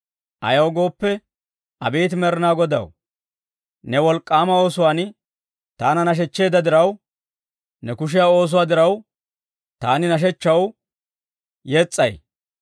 Ayaw gooppe, Abeet Med'inaa Godaw, ne wolk'k'aama oosuwaan taana nashechcheedda diraw, ne kushiyaa oosuwaa diraw, taani nashshechchaw yes's'ay.